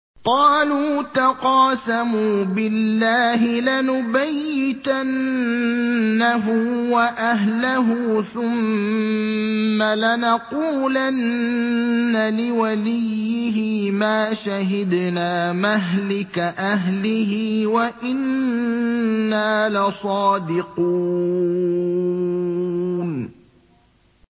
قَالُوا تَقَاسَمُوا بِاللَّهِ لَنُبَيِّتَنَّهُ وَأَهْلَهُ ثُمَّ لَنَقُولَنَّ لِوَلِيِّهِ مَا شَهِدْنَا مَهْلِكَ أَهْلِهِ وَإِنَّا لَصَادِقُونَ